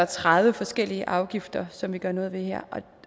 tredive forskellige afgifter som vi gør noget ved her